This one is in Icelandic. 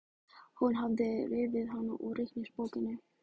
Hún hafði rifið hana úr reikningsbókinni.